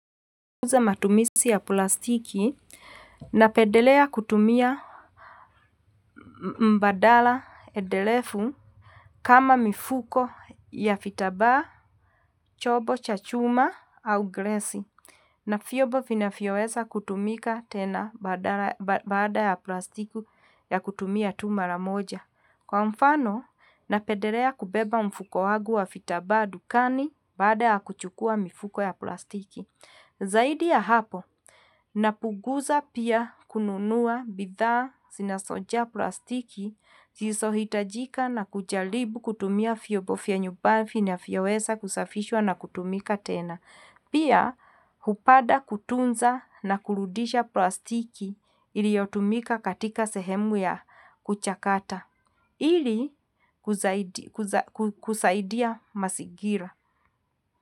Ninapunguza matumisi ya plastiki, na pedelea kutumia mbadala edelefu kama mifuko ya fitabaa, chobo cha chuma au glesi. Na fiobo vinafyowesa kutumika tena baada ya plastiku ya kutumia tu mara moja. Kwa mfano, na pedelea kubeba mfuko wagu wa fitabaa dukani baada ya kuchukua mifuko ya plastiki. Zaidi ya hapo, napunguza pia kununua bidhaa sinasoja plastiki zisohitajika na kujalibu kutumia fyobo fya nyuba finafyowesa kusafishwa na kutumika tena. Pia, hupada kutunza na kurudisha plastiki iliotumika katika sehemu ya kuchakata. Ili kusaidia masigira.